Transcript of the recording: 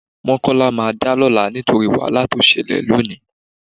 Mọ́kọ́lá máa dá lọ́la nítorí wàhálà tó ṣẹlẹ̀ lónìí